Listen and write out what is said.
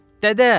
Dədə!